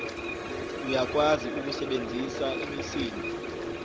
uyakwazi ukusebenzisa imisindo